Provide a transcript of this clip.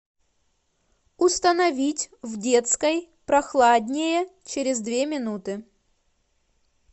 установить в детской прохладнее через две минуты